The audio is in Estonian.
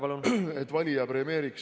Palun!